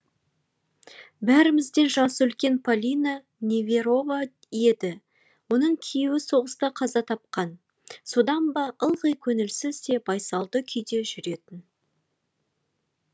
бәрімізден жасы үлкен полина неверова еді оның күйеуі соғыста қаза тапқан содан ба ылғи көңілсіз де байсалды күйде жүретін